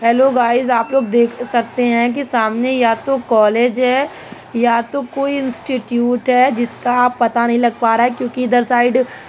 Hello guys आप लोग देख सकते हैं कि सामने या तो कॉलेज है या तो कोई इंस्टिट्यूट है। जिसका पता नहीं लग पा रहा है क्योंकि इधर साइड --